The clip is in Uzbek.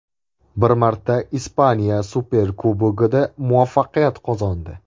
Bir marta Ispaniya Superkubogida muvaffaqiyat qozondi.